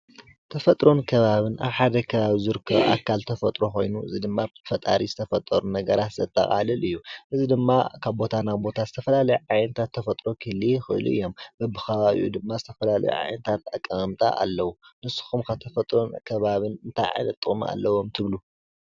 ተፈጥሮን ከባቢን አብ ሓደ ከባቢ ዝርከቡ አካል ተፈጥሮ ኮይኑ ፤ እዚ ድማ ብፈጣሪ ዝተፈጠሩ ነገራት ዘጠቃልል እዩ፡፡ እዚ ድማ ካብ ቦታ ናብ ቦታ ዝተፈላለየ ዓይነታት ተፈጥሮ ክህልዩ ይክእሉ እዮም፡፡ በቢከባቢኡ ድማ ዝተፈላለዩ ዓይነታት አቀመማምጣ አለው፡፡ ንስኹም ኸ ተፈጥሮን ከባቢን እንታይ ዓይነት ጥቅሚ አለዎም ትብሉ?